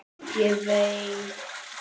Ég veit það ekki